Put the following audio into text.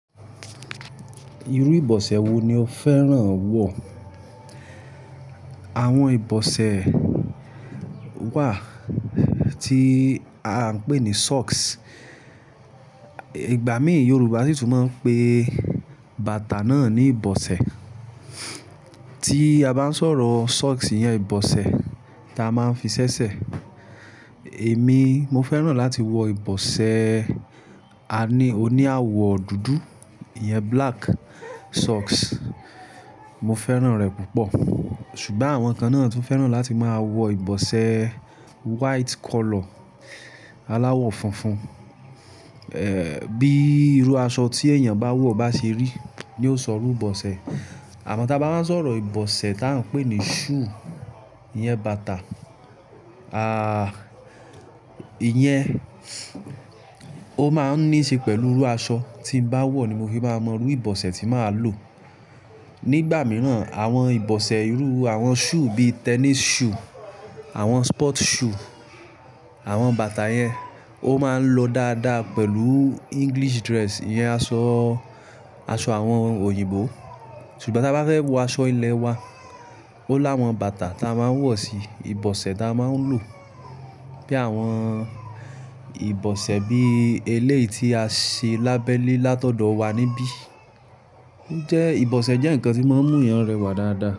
Irú ìbọ̀sẹ̀ wo ni o fẹ́ràn wọ̀? Àwọn ìbọ̀sẹ̀ wà tí a ń pè ní socks. Ìgbà míì Yorùbá sì tún máa ń pè bàtà náà ní ìbọ̀sẹ̀. Tí a bá ń sọ̀rọ̀ socks yẹn, ìbọ̀sẹ̀ ta a máa ń fi ṣẹ́ṣẹ́. Èmi, mo fẹ́ràn láti wọ ìbọ̀sẹ̀, a ní oní àwọ̀ dúdú, ìyẹn black socks. Mo fẹ́ràn rẹ̀ púpọ̀. Ṣùgbọ́n àwọn kan náà tún fẹ́ràn láti máa wọ ìbọ̀sẹ̀ white colour, aláwọ̀ funfun. Bí irú aṣọ tí èèyàn bá wọ̀ bá ṣe rí ni ó sọrú ìbọ̀sẹ̀. Àmọ́ tí a bá wáa ń sọ̀rọ̀ ìbọ̀sẹ̀ tá ń pè ní shoe, ìyẹn bàtà, ìyẹn, ó máa ń ní ṣe pẹ̀lú irú aṣọ tí m bá wọ̀ ni mo fi máa mọ irú ìbọ̀sẹ̀ tí màá lò. Nígbà mìíràn àwọn ìbọ̀sẹ̀ irú àwọn shoe bíi tennis shoe, àwọn sport shoe, àwọn bàtà yẹn ó máa ń lọ dáadáa pẹ̀lú English dress, ìyẹn aṣọ, aṣọ àwọn òyìnbó. Ṣùgbọ́n tí a bá fẹ́ wọ aṣọ ilẹ̀ wa, ó láwọn bàtà tí a máa ń wọ̀ sí ìbọ̀sẹ̀ tí a máa ń lò. Bí àwọn ìbọ̀sẹ̀ bíi eleyi tí a ṣe lábẹ́le látọ̀dọ̀ wà níbí. Jẹ́ ìbọ̀sẹ̀ jẹ́ ǹkan tí máa ń mú èèyàn rẹwà dáadáa.